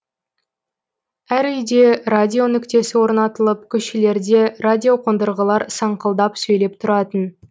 әр үйде радио нүктесі орнатылып көшелерде радиоқондырғылар саңқылдап сөйлеп тұратын